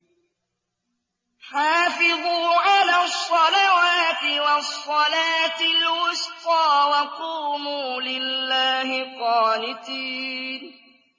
حَافِظُوا عَلَى الصَّلَوَاتِ وَالصَّلَاةِ الْوُسْطَىٰ وَقُومُوا لِلَّهِ قَانِتِينَ